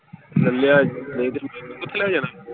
ਲੈ ਲਿਆ ਸੀ .